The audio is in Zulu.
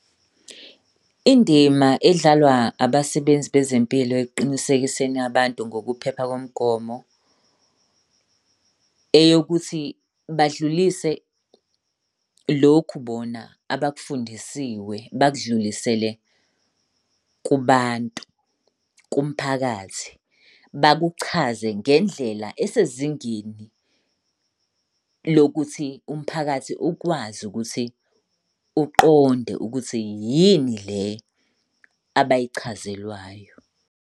Indima edlalwa abasebenzi bezempilo ekuqinisekiseni abantu ngokuphepha komgomo eyokuthi badlulise lokhu bona abakufundisiwe bakudlulisele kubantu, kumphakathi. Bakuchazele ngendlela esezingeni lokuthi umphakathi ukwazi ukuthi uqonde ukuthi yini le abayichazelwayo.